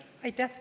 Aitäh!